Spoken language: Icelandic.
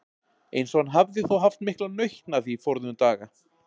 Eins og hann hafði þó haft mikla nautn af því forðum daga.